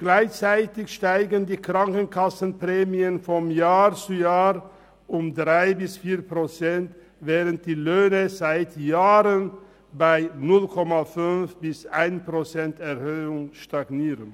Gleichzeitig steigen die Krankenkassenprämien von Jahr zu Jahr um 3−4 Prozent, während die Löhne seit Jahren bei 0,5−1,0 Prozent Erhöhung stagnieren.